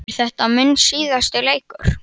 Er þetta minn síðasti leikur?